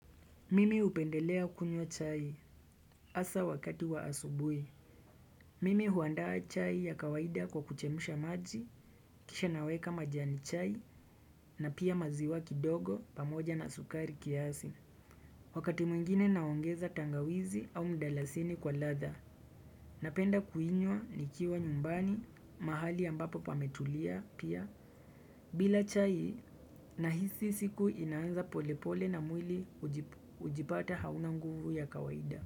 Mimi hupendelea kunywa chai hasa wakati wa asubuhi. Mimi huandaa chai ya kawaida kwa kuchemusha maji, kisha naweka majani chai na pia maziwa kindogo pamoja na sukari kiasi. Wakati mwingine naongeza tangawizi au mdalasini kwa ladha napenda kuinywa nikiwa nyumbani mahali ambapo pametulia pia bila chai na hisi siku inaanza polepole na mwili hujipata hauna nguvu ya kawaida.